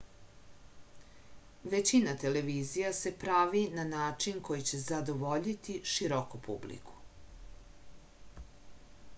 većina televizija se pravi na način koji će zadovoljiti široku publiku